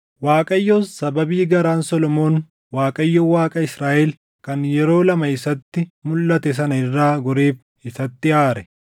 Waaqayyos sababii garaan Solomoon Waaqayyo Waaqa Israaʼel kan yeroo lama isatti mulʼate sana irraa goreef isatti aare.